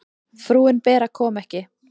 Frúin Bera kom ekki.